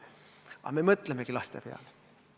Aga me mõtlemegi laste peale.